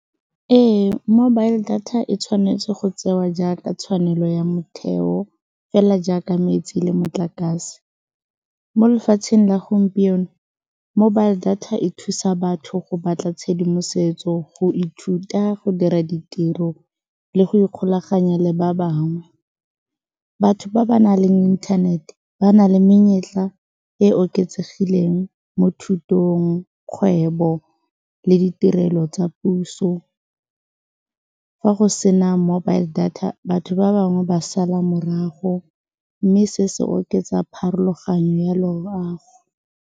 Ee, mobile data e tshwanetse go tsewa jaaka tshwanelo ya motheo fela jaaka metsi le motlakase, mo lefatsheng la gompieno mobile data e thusa batho go batla tshedimosetso go ithuta go dira ditiro le go ikgolaganya le ba bangwe, batho ba ba na leng inthanete ba na le menyetla e oketsegileng mo thutong, kgwebo le ditirelo tsa puso fa go sena mobile data batho ba bangwe ba sala morago, mme se se oketsa pharologanyo ya loago.